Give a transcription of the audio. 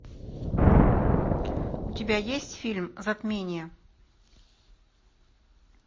у тебя есть фильм затмение